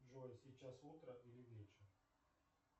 джой сейчас утро или вечер